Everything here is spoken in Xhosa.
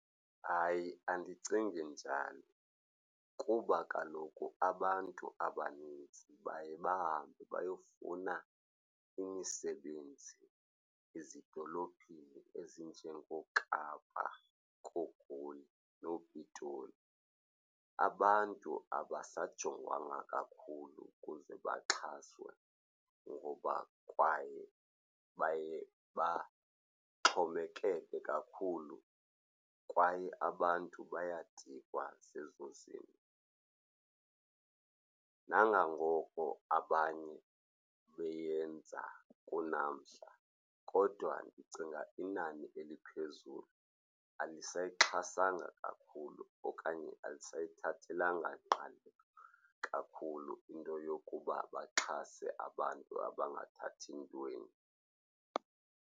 Hayi, andicingi njani kuba kaloku abantu abanintsi baye bahambe bayofuna imisebenzi ezidolophini ezinjengooKapa, kooGoli nooPitoli. Abantu abasajonganga kakhulu ukuze baxhaswe ngoba kwaye baye baxhomekeke kakhulu kwaye abantu bayadikwa zezo zinto. Nangangoko abanye beyenza kunamhla kodwa ndicinga inani eliphezulu alisayixhasanga kakhulu okanye alisayithathelanga ngqalelo kakhulu into yokuba baxhase abantu abangathathi ntweni.